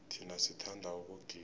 thina sithanda ukugida